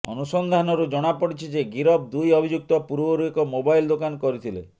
ଅନୁସନ୍ଧାନରୁ ଜଣା ପଡ଼ିଛି ଯେ ଗିରଫ ଦୁଇ ଅଭିଯୁକ୍ତ ପୂର୍ବରୁ ଏକ ମୋବାଇଲ ଦୋକାନ କରିଥିଲେ